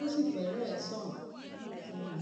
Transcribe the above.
ó sì fẹrẹẹ sàn fún mi